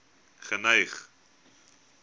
geneig